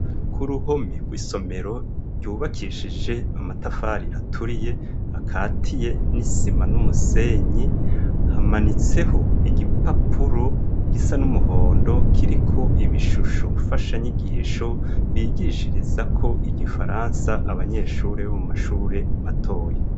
ku ruhome rw'isomero ryubakishije amatafari aturiye akatiye n'isima n'umusenyi, hamanitseho igipapuro gisa n'umuhondo kiriko ibishusho mfashanyigisho, bigishirizako igifaransa abanyeshure bo mu mashure matoyi.